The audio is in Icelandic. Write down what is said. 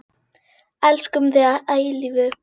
Elskum þig að eilífu.